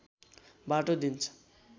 बाटो दिन्छ